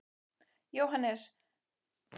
Jóhannes: Komið þið til með að fara víða um borgina?